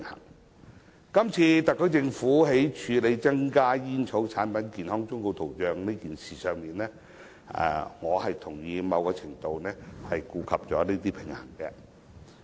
我認為，今次特區政府在處理增加煙草產品健康忠告圖像時，在某程度上已顧及有關平衡。